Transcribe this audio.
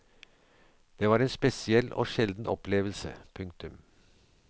Det var en spesiell og sjelden opplevelse. punktum